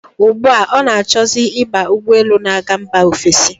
Ugbu a, ọ na-achọzi ịba ụgbọelu na-aga mba ofesi.